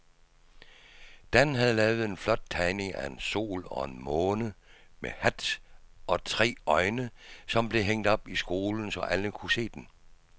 Dan havde lavet en flot tegning af en sol og en måne med hat og tre øjne, som blev hængt op i skolen, så alle kunne se den.